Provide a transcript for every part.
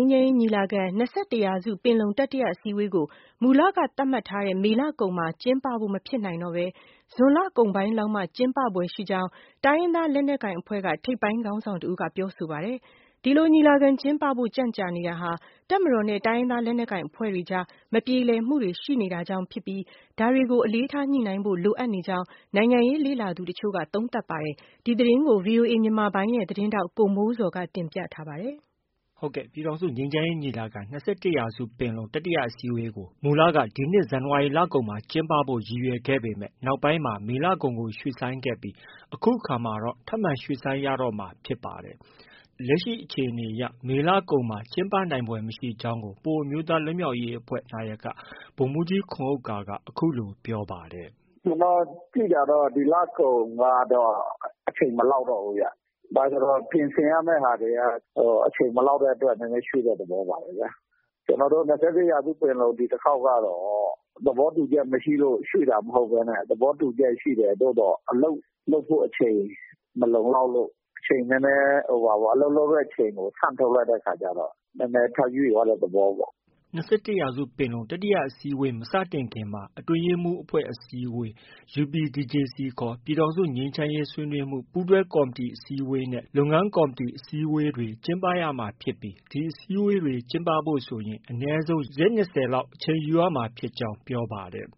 မ်းရေးညီလာခံ - ၂၁ရာစုပင်လုံတတိယအစည်းအဝေးကို မူလကသတ်မှတ်ထားတဲ့ မေလ ကုန်မှာ ကျင်းပဖို့ မဖြစ်နိုင်တော့ဘဲ ဇွန်လကုန်ပိုင်းလောက်မှာမှ ကျင်းပဖွယ်ရှိကြောင်း တိုင်းရင်းသား လက်နက်ကိုင်အဖွဲ့က ထိပ်ပိုင်းခေါင်းဆောင်တဦးက ပြောဆိုပါတယ်။ ဒီလို ညီလာခံ ကျင်းပဖို့ ကြန့်ကြာနေတာဟာ တပ်မတော်နဲ့ တိုင်းရင်းသားလက်နက်ကိုင်အဖွဲ့တွေအကြား မပြေလည်မှုတွေ ရှိနေတာကြောင့် ဖြစ်ပြီး ဒါတွေကို အလေးထားညှိနှိုင်းဖို့ လိုအပ်နေကြောင်း နိုင်ငံရေးလေ့လာသူတချို့က သုံးသပ်ပါတယ်။ ဒီသတင်းကို ဗွီအိုအေ မြန်မာပိုင်းရဲ့ သတင်းထောက် ကိုမိုးဇော်က တင်ပြထားပါတယ်။ ပြည်ထောင်စုငြိမ်းချမ်းရေးညီလာခံ - ၂၁ရာစုပင်လုံတတိယအစည်းအဝေးကို မူလက ဒီနှစ် ဇန်နဝါရီလကုန်မှာ ကျင်းပဖို့ ရည်ရွယ်ခဲ့ရာက နောက်ပိုင်းမှာ မေလကုန်ကို ရွှေ့ဆိုင်းခဲ့ပြီး အခုအခါမှာတော့ ထပ်မံရွှေ့ဆိုင်းရတော့မှာ ဖြစ်ပါတယ်။ လက်ရှိအခြေအနေအရ မေလကုန်ပိုင်းမှာကျင်းပနိုင်ဖွယ်မရှိကြောင်းကို ပအိုဝ်းအမျိုးသားလွတ်မြောက်ရေးအဖွဲ့ နာယက ဗိုလ်မှုးကြီးခွန်ဥက္ကာက အခုလို ပြောပါတယ်။ “ ကျနော်သိတာတော့ ဒီလကုန်ကတော့ အချိန်မလောက်တော့ဘူးဗျ။ ဘာလို့လည်းဆိုတော့ ပြင်ဆင် ရမယ့် ဟာတွေက အချိန်မလောက်တဲ့အတွက် နည်းနည်းရွှေ့တဲ့သဘောပါပဲ။ ကျနော်တို့ ၂၁ရာစုပင်လုံ ဒီတခေါက် ကတော့ သဘောတူချက်မရှိလို့ ရွှေ့တာမဟုတ်ဘဲနဲ့ သဘောတူချက်ရှိတယ်။ သို့သော်အလုပ်လုပ်ဖို့ အချိန် မလုံလောက်တဲ့အခါကျတော့ အလုပ်လုပ်တဲ့အချိန်ကို ဆန့်ထုတ်လိုက်တဲ့အခါကျတော့ နည်းနည်း ထပ်ရွှေ့သွားတဲ့သဘောပေါ့။ ” ၂၁ရာစုပင်လုံ တတိယအစည်းအဝေးမစတင်ခင်မှာ အတွင်းရေးမှုးအဖွဲ့အစည်းဝေး၊ UPDJCခေါ် ပြည်ထောင်စု ငြိမ်းချမ်းရေး ဆွေးနွေးမှုးပူးတွဲကော်မတီအစည်းအဝေးနဲ့ လုပ်ငန်းကော်မတီ အစည်းအဝေးတွေ ကျင်းပရမှာ ဖြစ်ပြီး ဒီအစည်းအဝေးတွေကျင်းပဖို့ဆိုရင် အနည်းဆုံး ရက် ၂၀နီးပါး အချိန်ယူရမှာဖြစ်ကြောင်း ပြောပါတယ်။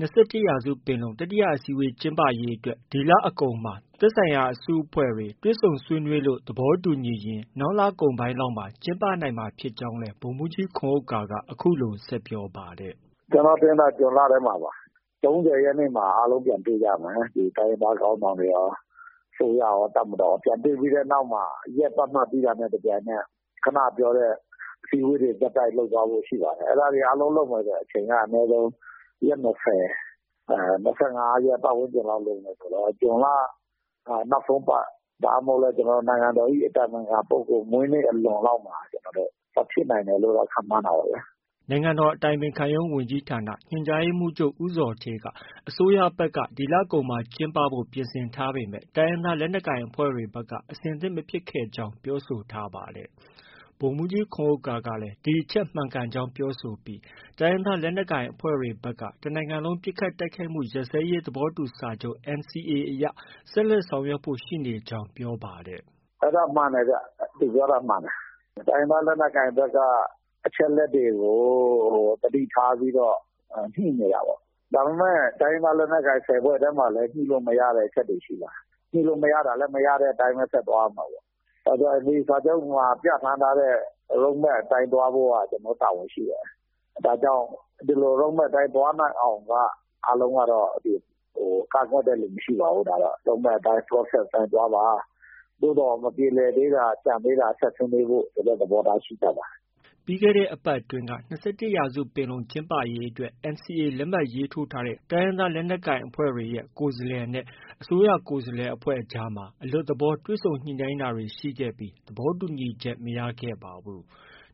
၂၁ရာစုပင်လုံ တတိယအစည်းအဝေးကျင်းပရေးအတွက် ဒီလအကုန်မှာ သက်ဆိုင်ရာအစုအဖွဲ့တွေ တွေ့ဆုံ ဆွေးနွေးလို့ သဘောတူညီရင် နောက်လကုန်ပိုင်းလောက်မှာ ကျင်းပနိုင်မှာ ဖြစ်ကြောင်းလည်း ဗိုလ်မှုးကြီး ခွန်ဥက္ကာ အခုလို ဆက်ပြောပါတယ်။ “ ကျနေ်ာထင်တယ် ဇွန်လထဲမှာပါ။ ၃၀ရက်နေ့မှာ အားလုံးပြန်တွေ့ကြမယ်။ ဒီတိုင်းရင်းသား ခေါင်းဆောင်တွေရော၊ အစိုးရရော၊ တပ်မတော်ရော။ ပြန်တွေ့ပြီးတဲ့နောက်မှာ ရက်သတ်မှတ်ပြီးတာနဲ့ တပြိုင်နက် ခုနက ပြောတဲ့အစည်းအဝေးတွေ ဆက်တိုက်လုပ်သွားဖို့ ရှိပါတယ်။ အဲဒါတွေအားလုံးလုပ်မယ်ဆို အချိန်က အနည်းဆုံး ရက်၂၀၊ ၂၅ရက်ပတ်ဝန်းကျင်လောက်လိုမယ်ဆိုတော့ ဇွန်လ နောက်ဆုံးပတ် ဒါမှမဟုတ်လည်း နိုင်ငံတော်၏အတိုင်ပင်ခံပုဂ္ဂိုလ်မွေးနေ့အလွန်မှာ ဖြစ်နိုင်တယ်လို့တော့ ခန့်မှန်းတာပေါ့ဗျာ။” နိုင်ငံတော်အတိုင်ပင်ခံရုံးဝန်ကြီးဌာနညွှန်ကြားရေးမှုးချုပ် ဦးဇော်ဌေးက အစိုးရဘက်က ဒီလကုန်ကျင်းပဖို့ ပြင်ဆင်ထားပေမဲ့ တိုင်းရင်းသားလက်နက်ကိုင်အဖွဲ့တွေဖက်က အဆင်သင့်မဖြစ်ခဲ့ကြောင်း ပြောဆိုထားပါ တယ်။ ဗိုလ်မှုးကြီးခွန်ဥက္ကာက ဒီအချက်မှန်ကန်ကြောင်းပြောဆိုပြီး တိုင်းရင်းသားလက်နက်ကိုင်အဖွဲ့တွေဘက်က တစ်နိုင်ငံလုံး ပစ်ခတ်တိုက်ခိုက်မှု ရပ်စဲရေးသဘောတူစာချုပ် NCA အရ ဆက်လက်ဆောင်ရွက်ဖို့ ရှိကြောင်း ပြောပါတယ်။ “ အဲဒါမှန်တယ်ဗျ။ သူပြောတာမှန်တယ်။ တိုင်းရင်းသားလက်နက်ကိုင်ဘက်က အချက်အလက်တွေကို သတိထားပြီးတော့ ညှိနေတာပေါ့။ ဒါပေမဲ့ တိုင်းရင်းသားလက်နက်ကိုင်အဖွဲ့ ၁၀ဖွဲ့ထဲမှာလည်း ညှိလို့ မရတဲ့ အချက်တွေ ရှိပါတယ်။ ညှိလို့ မရတာလည်း မရတဲ့အတိုင်း ဆက်သွားရမှာပဲ။ NCA စာချုပ်မှာပြဌာန်းထားတဲ့ road map အတိုင်းသွားဖို့က ကျနော်တို့မှာ တာဝန်ရှိတယ်။ ဒါကြောင့် ဒီလို road map အတိုင်းသွားနိုင် အောင်က အားလုံးက ကန့်ကွက်တဲ့သူမရှိပါဘူး။ road map အတိုင်း၊ process အတိုင်းသွားပါ။ သို့သော် မပြေလည်သေးတာ ကျန်သေးတာ ဆက်ဆွေးနွေးဖို့ ဆိုတဲ့သဘောထားရှိကြပါတယ်။ ” ပြီးခဲ့တဲ့ အပတ်အတွင်းက ၂၁ရာစုပင်လုံ ကျင်းပရေးအတွက် NCA လက်မှတ်ရေးထိုးထားတဲ့ တိုင်းရင်းသား လက်နက်ကိုင်အဖွဲ့တွေရဲ့ ကိုယ်စားလှယ်အဖွဲ့နဲ့ အစိုးရကိုယ်စားလှယ်အဖွဲ့ အကြားမှာ အလွတ်သဘော တွေ့ဆုံညှိနှိုင်းတာတွေရှိခဲ့ပြီး သဘောတူညီချက် မရခဲ့ပါဘူး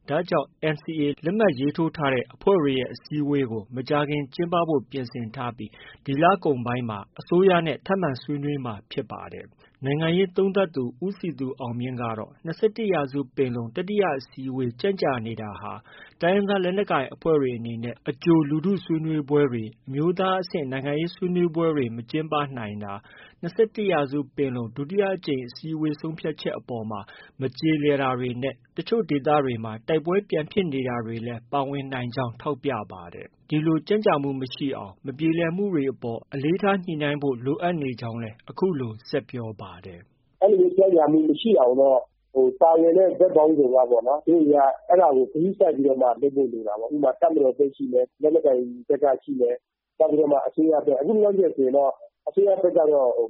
။ ဒါကြောင့် NCA လက်မှတ်ရေး ထိုးထားတဲ့အဖွဲ့တွေရဲ့ အစည်းအဝေးကို မကြာမီကျင်းပဖို့ ပြင်ဆင်ထားပြီး ဒီလကုန်ပိုင်းမှာ အစိုးရနဲ့ ထပ်မံဆွေးနွေးမှာ ဖြစ်ပါတယ်။ နိုင်ငံရေးသုံးသပ်သူ ဦးစည်သူအောင်မြင့်ကတော့ ၂၁ရာစုပင်လုံတတိယ အစည်းအဝေး ကြန့်ကြာနေတာဟာ တိုင်းရင်းသားလက်နက်ကိုင်အဖွဲ့တွေအနေနဲ့ အကြို လူထုဆွေးနွေးပွဲတွေ၊ အမျိုးသားအဆင့် နိုင်ငံရေး ဆွေးနွေးပွဲတွေ မကျင်းပနိုင်တာ၊ ၂၁ရာစုပင်လုံ ဒုတိယအစည်းအဝေးဆုံးဖြတ်ချက်တွေ အပေါ်မှာ မကျေလည် တာနဲ့ တချို့ဒေသတွေမှာတိုက်ပွဲတွေပြန်ဖြစ်နေတာတွေလည်း ပါဝင်နိုင်ကြောင်း ထောက်ပြပါတယ်။ ကြန့်ကြာမှုမရှိအောင် မပြေလည်မှုတွေအပေါ် အလေးထားညှိနှိုင်းဖို့ လိုအပ်နေကြောင်းလည်း အခုလို ဆက်ပြောပါတယ်။ “ အဲလိုမျိုးကြန့်ကြာမှုမရှိအောင်တော့ ပါဝင်တဲ့ ဘက်ပေါင်းစုံကပေါ့နော်။ သူတို့တွေက အဲဒါကို ဂရုစိုက်ပြီး လုပ်ဖို့ လိုတာပေါ့။ တပ်မတော်ဘက်ရှိမယ်။ လက်နက်ကိုင်ဘက်က ရှိမယ်။ နောက်ပြီးတော့မှ အစိုးရဘက်။ အခုလောလောဆည်ဆိုရင်တော့ အစိုးရဘက်က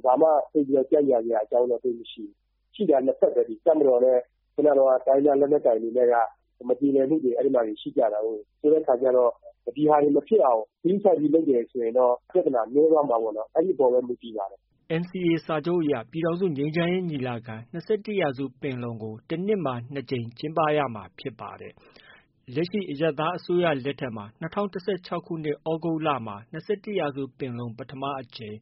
ဘာမှ ကြန့်ကြာစရာအကြောင်းတော့ သိပ်မရှိဘူး။ ရှိတာ ၂ဖက်ပဲလေ။ တပ်မတော်နဲ့ တိုင်းရင်းသားလက်နက်ကိုင်တွေနဲ့ မပြေလည်မှုတွေ အဲဒီမှာ ရှိကြတာကိုး။ ဆိုတဲ့ခါကျ ဒီဟာတွေ မဖြစ်အောင် ဂရုစိုက်ပြီးလုပ်တယ်ဆိုရင်တော့ ပြဿနာ နည်းသွားမှာပေါ့နော်။ အဲဒီအပေါ်ပဲ မူတည်ပါတယ်။” NCA စာချုပ်အရ ပြည်ထောင်စု ငြိမ်းချမ်းရေးညီလာခံ- ၂၁ရာစုပင်လုံ ကို တနှစ်မှာ ၂ကြိမ် ကျင်းပရမှာဖြစ်ပါတယ်။ လက်ရှိ အရပ်သားအစိုးရလက်ထက်မှာ ၂၀၁၆ သြဂုတ်လမှာ ၂၁ရာစုပင်လုံ ပထမအကြိမ်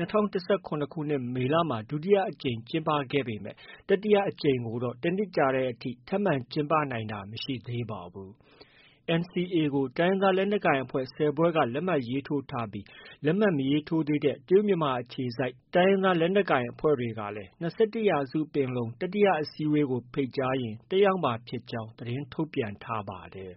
၊ ၂၀၁၇ မေလမှာ ဒုတိယအကြိမ် ကျင်းပခဲ့ပေမဲ့ တတိယအကြိမ်ကိုတော့ တနှစ်ကြာတဲ့ထိ ထပ်မံ ကျင်းပနိုင်တာ မရှိသေးပါဘူး။ NCA ကို တိုင်းရင်းသားလက်နက်ကိုင်အဖွဲ့ ၁၀ဖွဲ့က လက်မှတ်ရေးထိုးထားပြီး လက်မှတ်မရေးထိုးသေးတဲ့ တရုတ်မြန်မာနယ်စပ်အခြေစိုက် တိုင်းရင်းသား လက်နက်ကိုင်အဖွဲ့တွေကိုလည်း ၂၁ရာစုပင်လုံ တတိယအစည်းအဝေးကို ဖိတ်ကြားရင် တက်ရောက်မှာဖြစ်ကြောင်း သတင်းထုတ်ပြန် ထားပါတယ်